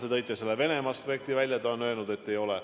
Te tõite Venemaa aspekti välja – ta on öelnud, et ei ole.